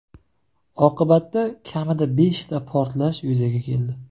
Oqibatda kamida beshta portlash yuzaga keldi.